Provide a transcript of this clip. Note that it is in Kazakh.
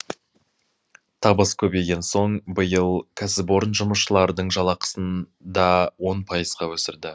табыс көбейген соң биыл кәсіпорын жұмысшылардың жалақысын да он пайызға өсірді